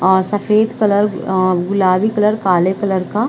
और सफ़ेद कलर गुलाबी कलर काले कलर का--